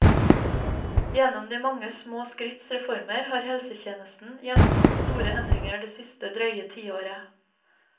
Gjennom de mange små skritts reformer har helsetjenesten gjennomgått store endringer det siste drøye tiåret.